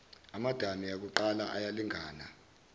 amadami akuqala ayalingana